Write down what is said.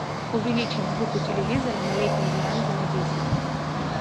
увеличить звук у телевизора на летней веранде на десять